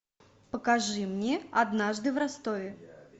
покажи мне однажды в ростове